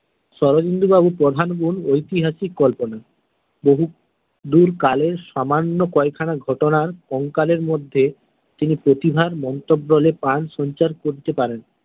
শরদিন্দু বাবুর প্রধান গুণ ঐতিহাসিক কল্পনা বহুদূর কালের সামান্য কয়েক খানা ঘটনার কঙ্কালের মধ্যে তিনি প্রতিভার মন্ত্রবলে প্রাণ সঞ্চার করতে পারেন।